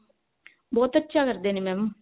ਬਹੁਤ ਅੱਛਾ ਕਰਦੇ ਨੇ mam